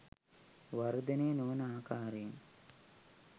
වර්ධනය නොවන ආකාරයෙන්